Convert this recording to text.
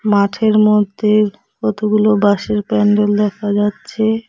মাঠের মধ্যে কতগুলো বাঁশের প্যান্ডেল দেখা যাচ্ছে।